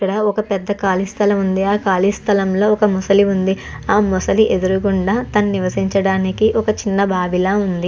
ఇక్కడా ఒక పెద్ద ఖాళీ స్థలం ఉంది. ఆ ఖాళీ స్థలంలో పెద్ద ముసలి ఉంది. ఆ ముసలి ఎదురుగుండా నివసించడానికి ఒక చిన్న బావిలా ఉంది.